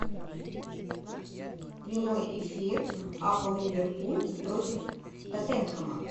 прямой эфир апл ливерпуль против тоттенхэма